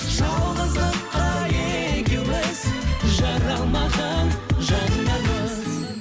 жалғыздыққа екеуіміз жаралмаған жандармыз